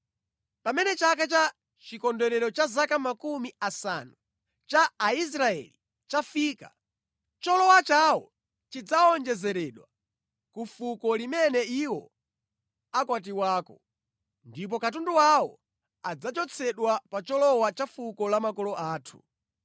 Pamene chaka cha chikondwerero cha zaka makumi asanu, cha Aisraeli chafika, cholowa chawo chidzawonjezeredwa ku fuko limene iwo akwatiwako. Ndipo katundu wawo adzachotsedwa pa cholowa cha fuko la makolo athu.”